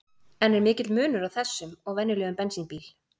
En er mikill munur á þessum og venjulegum bensínbíl?